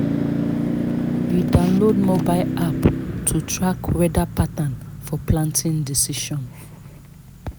we download mobile app to track weather pattern for planting decision